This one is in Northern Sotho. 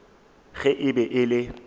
ge e be e le